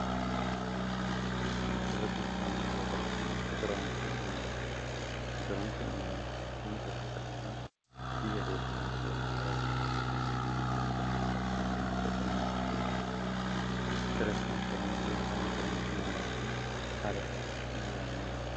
basrata inshoraansii keessa tokkonm mla inshoraansi malaa nami tpa kaxasaa biyya keessaa b araluta akkicta qurdina sorisaa mate tarabina inshoraansii yakaan inshoraansii malaakma haala salaatii iyyaalla mm